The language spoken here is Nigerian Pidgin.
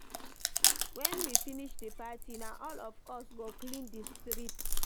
Wen we finish di party, na all of us go clean di street